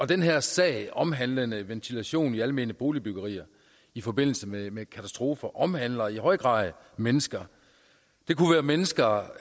den her sag omhandlende ventilation i almene boligbyggerier i forbindelse med med katastrofer omhandler i høj grad mennesker det kunne være mennesker